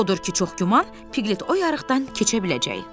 Odur ki, çox güman, Piqlet o yarıqdan keçə biləcək.